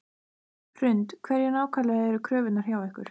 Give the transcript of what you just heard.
Hrund: Hverjar nákvæmlega eru kröfurnar hjá ykkur?